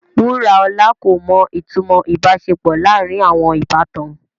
Wuraola ko mo itumo ibaṣepọ laarin awọn ibatan